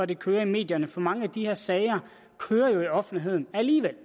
det kører i medierne for mange af de her sager kører jo i offentligheden alligevel